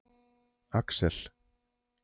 Axel